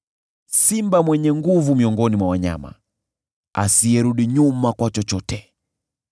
simba, mwenye nguvu miongoni mwa wanyama, asiyerudi nyuma kwa chochote;